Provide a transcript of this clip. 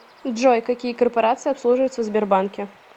джой какие корпорации обслуживаются в сбербанке